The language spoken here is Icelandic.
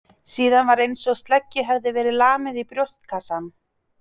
Síðan var einsog sleggju hefði verið lamið í brjóstkassann.